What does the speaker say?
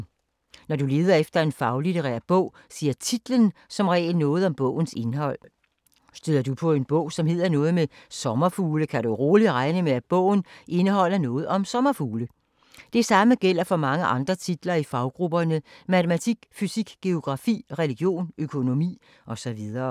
Når du leder efter en faglitterær bog siger titlen som regel noget om bogens indhold. Støder du på en bog, som hedder noget med sommerfugle, kan du roligt regne med, at bogen indeholder noget om sommerfugle. Det samme gælder for mange andre titler i faggrupperne matematik, fysik, geografi, religion, økonomi og så videre.